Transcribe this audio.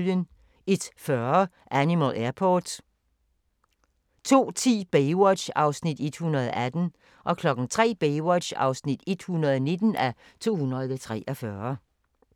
01:40: Animal Airport 02:10: Baywatch (118:243) 03:00: Baywatch (119:243)